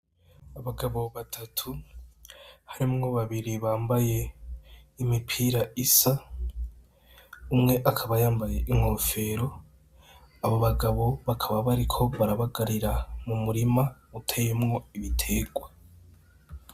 Abagabo batatu harimwo babiri bambaye imipira isa, umwe akaba yambaye inkofero. Abo bagabo bakaba bariko barabagarira mu murima uteyemwo ibiterwa.